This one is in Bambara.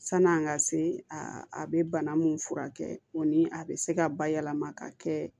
San'an ka se a bɛ bana min furakɛ o ni a bɛ se ka bayɛlɛma ka kɛ